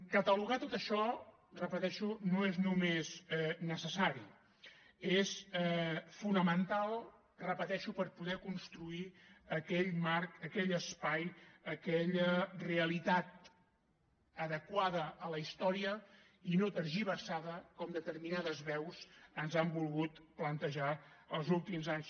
catalogar tot això ho repeteixo no és només necessari és fonamental ho repeteixo per poder construir aquell marc aquell espai aquella realitat adequada a la història i no tergiversada com determinades veus ens han volgut plantejar els últims anys